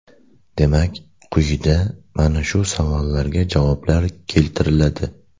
Demak, quyida mana shu savollarga javoblar keltiriladi .